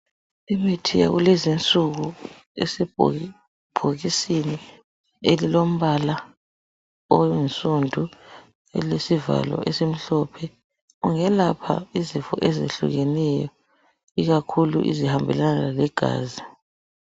Imithi yakulezinsuku esebhokisini elilombala oyinsundu elilesivalo esimhlophe ungelapha izifo ezehlukeneyo ikakhulu ezihambelana legazi